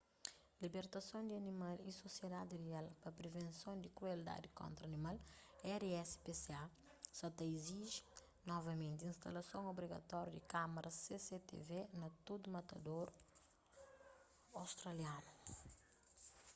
libertason di animal y sosiedadi real pa privenson di krueldadi kontra animal rspca sa ta iziji novamenti instalason obrigatóriu di kâmaras cctv na tudu matadoru australianu